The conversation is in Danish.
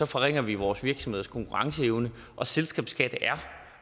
forringer vi vores virksomheders konkurrenceevne og selskabsskat